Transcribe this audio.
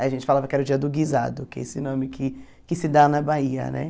Aí a gente falava que era o dia do guisado, que é esse nome que que se dá na Bahia, né?